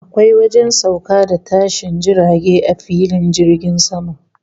Akwai wajen sauka da tashin jirage a filin jirgin sama